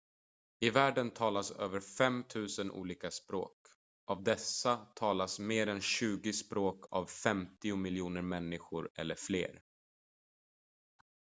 i världen talas över 5 000 olika språk av dessa talas mer än tjugo språk av 50 miljoner människor eller fler